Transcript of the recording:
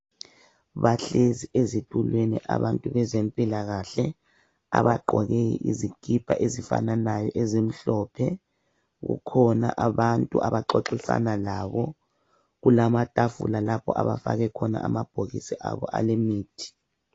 Bahlezi ezitulweni abantu bezempilakahle abagqoke izikipa ezifananayo ezimhlophe, kukhona abantu abaxoxisana labo kulama tafula lapho abafake amabhokisi abo alemithi.